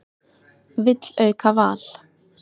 Vill auka val